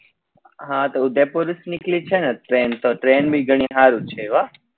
હા તો ઉદયપુર થી નીકળી છે ને train તો train બી ગણી હારી જ છે વા